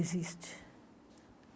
Existe.